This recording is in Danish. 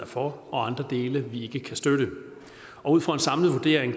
for og andre dele vi ikke kan støtte ud fra en samlet vurdering